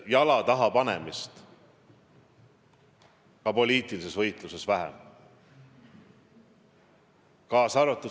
– jala taha panemist ka poliitilises võitluses vähem.